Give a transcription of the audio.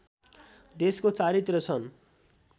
देशको चारैतिर छन्